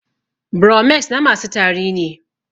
Bromex na masu tari ne